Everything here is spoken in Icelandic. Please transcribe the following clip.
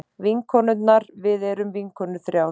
Vinkonur við erum vinkonur þrjár.